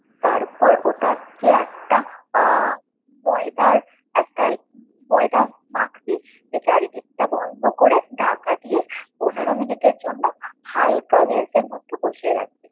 তারপর ওটাকে একটা আহ ময়দার একটা, ময়দা মাখবি, চারিদিকটা বন্ধ করে ঢাকা দিয়ে পনেরো মিনিটের জন্য হালকা গ্যাসের মধ্যে বসিয়ে রাখবি।